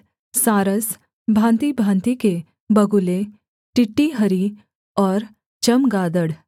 सारस भाँतिभाँति के बगुले टिटीहरी और चमगादड़